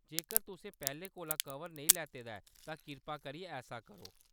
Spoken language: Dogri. जेकर तुसें पैह्‌‌‌लें कोला कवर नेईं लैते दा ऐ, तां किरपा करियै ऐसा करो।